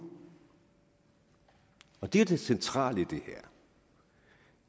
og det er jo det centrale i